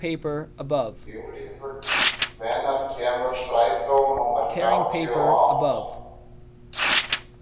Júlíhuld, hvenær kemur strætó númer þrjátíu og átta?